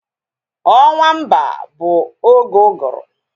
Ọnwa Emba bụ oge uguru